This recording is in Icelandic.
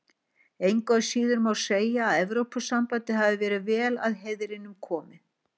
Engu að síður má segja að Evrópusambandið hafi verið vel að heiðrinum komið.